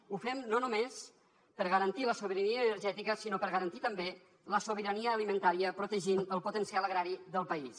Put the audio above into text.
ho fem no només per garantir la sobirania energètica sinó per garantir també la sobirania alimentària protegint el potencial agrari del país